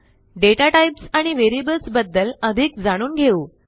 data types आणि व्हेरिएबल्सबद्दल अधिक जाणून घेऊ